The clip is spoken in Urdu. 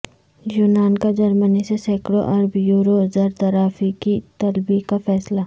یونان کا جرمنی سے سینکڑوں ارب یورو زر تلافی کی طلبی کا فیصلہ